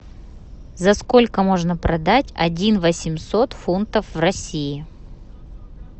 за сколько можно продать один восемьсот фунтов в россии